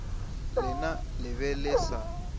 lena le be le sa